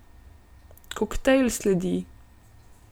Koktajl sledi!